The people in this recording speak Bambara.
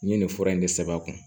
N ye nin fura in de sɛbɛn a kun